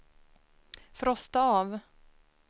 frosta av